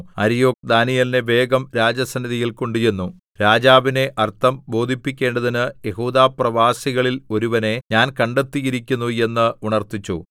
അര്യോക്ക് ദാനീയേലിനെ വേഗം രാജസന്നിധിയിൽ കൊണ്ടുചെന്നു രാജാവിനെ അർത്ഥം ബോധിപ്പിക്കേണ്ടതിന് യെഹൂദാപ്രവാസികളിൽ ഒരുവനെ ഞാൻ കണ്ടെത്തിയിരിക്കുന്നു എന്ന് ഉണർത്തിച്ചു